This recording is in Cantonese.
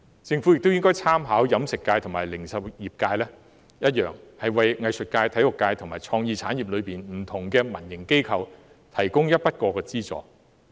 政府亦應參考飲食界及零售業界的做法，為藝術界、體育界及創意產業的民營機構提供一筆過資助。